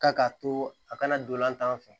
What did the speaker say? Ka k'a to a kana dolantan fɛ